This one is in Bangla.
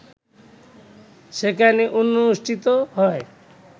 সেখানে অনুষ্ঠিত হয়